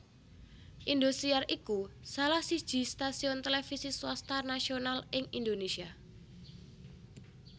Indosiar iku salah siji stasiun televisi swasta nasional ing Indonésia